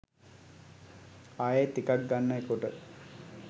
ආයෙත් එකක් ගන්න කොට